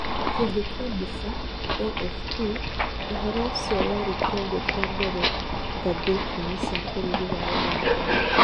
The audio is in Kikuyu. Kĩongo kĩa mbica, (AFP) ũhoro ũcio warĩ kĩongo kĩa mbere ngathĩti-inĩ cia bũrũri wa Ũganda.